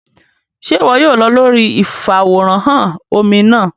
Ṣe iwọ yóò lọ lórí ifaworanhan omí náà?